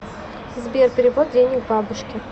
сбер перевод денег бабушке